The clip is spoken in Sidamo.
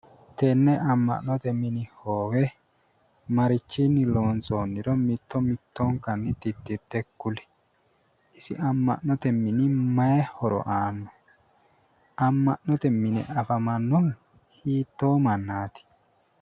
Tenne amma'note mini hoowe marichinni loonsoonniro mitto mittonkanni titirte kuli, isi amma'note mini mayii horo aanno? amma'note mine afamannohu hiittoo mannaati?